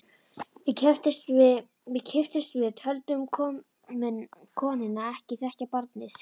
Við kipptumst við, töldum konuna ekki þekkja barnið.